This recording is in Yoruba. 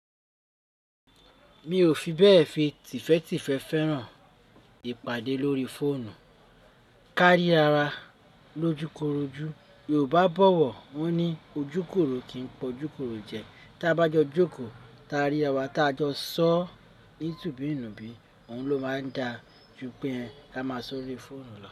Mi ò fi bẹ́ẹ̀ fi tìfé̀tìfé̀ fẹ́ràn ìpàdé lórí fóònù. Kárí ara wa lójúkorojú. Yorùbá bo, won ní ojúkòro kìí pọ̀júkorò jẹ. Tí a bá jọ jókòó, ti a rí ara wa tí a jọ sọ ní tùbíìnùbí, òun ló máa ń da ju pé a máa sọ ó lórí fóònù lọ.